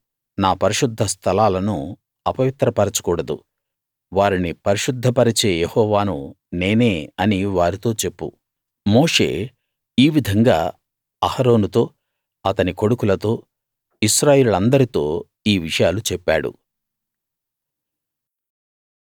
నా పరిశుద్ధ స్థలాలను అపవిత్రపరచకూడదు వారిని పరిశుద్ధ పరిచే యెహోవాను నేనే అని వారితో చెప్పు మోషే ఈ విధంగా అహరోనుతో అతని కొడుకుల తో ఇశ్రాయేలీయులందరితో ఈ విషయాలు చెప్పాడు